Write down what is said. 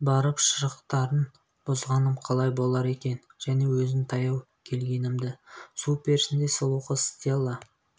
барып шырықтарын бұзғаным қалай болар екен және өзін таяу келгенімді су перісіндей сұлу қыз стелла